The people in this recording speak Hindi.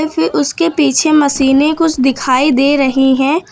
फिर उसके पीछे मशीनें कुछ दिखाई दे रही हैं।